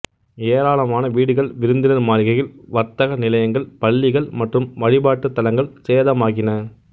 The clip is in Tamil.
ஏராளமான வீடுகள் விருந்தினர் மாளிகைகள் வர்த்தக நிலையங்கள் பள்ளிகள் மற்றும் வழிபாட்டுத்தலங்கள் சேதமாகின